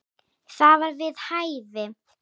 Það var við hæfi.